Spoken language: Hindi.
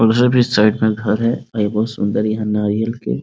और उधर भी साइड में घर है और बहुत सुन्दर यहाँ नारियल के --